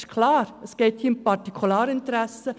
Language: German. Das ist klar, es geht hier um Partikularinteressen.